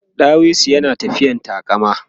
ɗawisun yana tafiyan taƙama